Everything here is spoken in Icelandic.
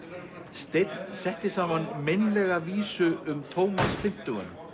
steinn setti saman meinlega vísu um Tómas fimmtugan